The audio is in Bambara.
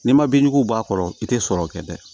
N'i ma bin juguw bɔ a kɔrɔ i tɛ sɔrɔ kɛ dɛ